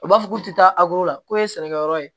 U b'a fɔ k'u tɛ taa la k'o ye sɛnɛkɛyɔrɔ ye